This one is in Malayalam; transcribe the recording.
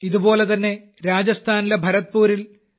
ഇതുപോലെതന്നെ രാജസ്ഥാനിലെ ഭരത്പൂറിൽ പി